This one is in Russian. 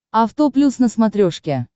авто плюс на смотрешке